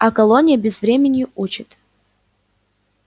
а колония безвременью учит